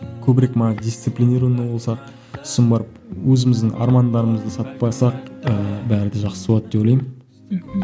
көбірек мана дисциплинированный болсақ сосын барып өзіміздің армандарымызды сатпасақ ыыы бәрі де жақсы болады деп ойлаймын мхм